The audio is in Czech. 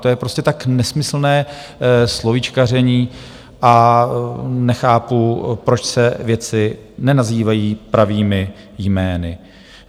To je prostě tak nesmyslné slovíčkaření a nechápu, proč se věci nenazývají pravými jmény.